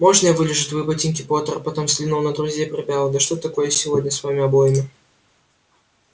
можно я вылижу твои ботинки поттер потом взглянул на друзей и прибавил да что такое сегодня с вами обоими